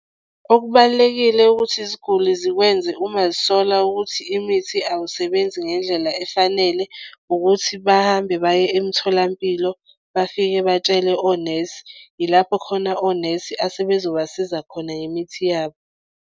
Okubalulekile ukuthi iziguli zikwenze uma zisola ukuthi imithi awusebenzi ngendlela efanele ukuthi bahambe baye emtholampilo bafike batshele onesi yilapho khona onesi asebezobasiza khona ngemithi yabo.